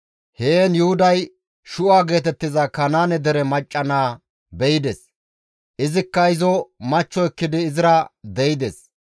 Heen Yuhuday Shu7a geetettiza Kanaane dere macca naa be7ides. Izikka izo machcho ekkidi izira de7ides.